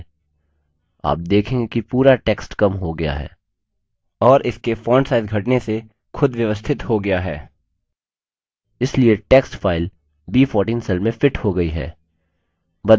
आप देखेंगे कि पूरा text कम हो गया है और इसके font size घटने से खुद व्यवस्थित हो गया है इसलिए text फाइल b14 cell में fits हो गई है